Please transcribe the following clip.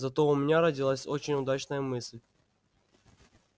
зато у меня родилась очень удачная мысль